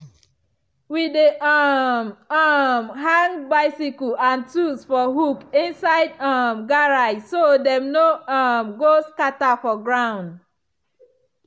we dey um um hang bicycle and tools for hook inside um garage so dem no um go scatter for ground.